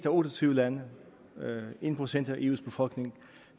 af otte og tyve lande en procent af eus befolkning